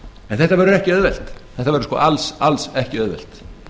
en þetta verður ekki auðvelt þetta verður alls ekki auðvelt